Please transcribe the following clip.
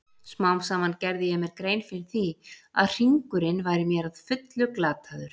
Smám saman gerði ég mér grein fyrir því að hringurinn væri mér að fullu glataður.